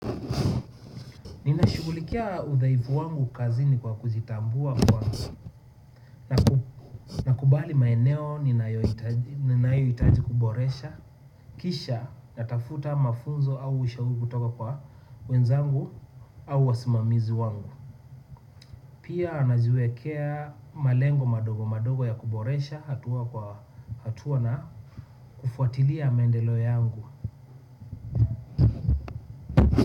Ninashughulikia udhaifu wangu kazini kwa kujitambua na kukubali maeneo ninayohitaji kuboresha. Kisha natafuta mafunzo au ushauri kutoka kwa wenzangu au wasimamizi wangu. Pia najiwekea malengo madogo madogo ya kuboresha hatua na kufuatilia maendeleo yangu.